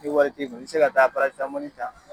Ni wari t'i kun i bɛ se ka taa parasitamɔli ta.